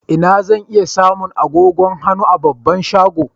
Inna zan iya samu agogon hannu a babban shagon?